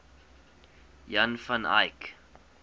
jan van eyck